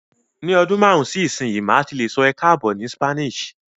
Ni ọdún márùn-ún sí ìsinyìí, màá ti lè sọ "Bienvenidos" ni Spanish